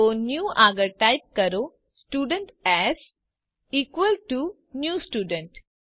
તો ન્યૂ આગળ ટાઇપ કરો students equal to new student